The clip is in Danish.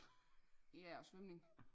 Ja og svømning